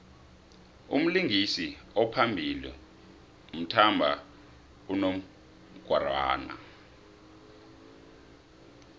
umlingisi ophambili uthmba unongorwana